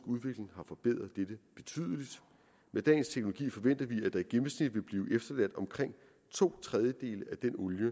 udvikling har forbedret dette betydeligt med dagens teknologi forventer vi at der i gennemsnit vil blive efterladt omkring to tredjedele af den olie